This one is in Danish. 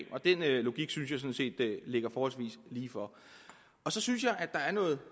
og den logik synes jeg ligger forholdsvis lige for så synes jeg der er noget